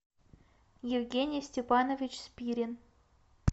евгений степанович спирин